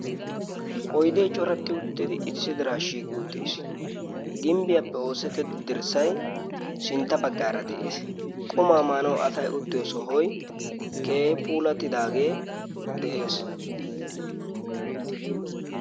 oydee coretti uttidi issi diraa shiiqi uttiis gimbbiyaappe oossetteddi dirssai sintta baggaara de7ees qumaa maanau asai uttiyo sohoi keehi pulatidaagee de7ees